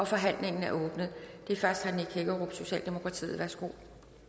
forhandlingen er åbnet og det er først herre nick hækkerup socialdemokratiet værsgo